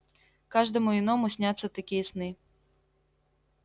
каждому иному снятся такие сны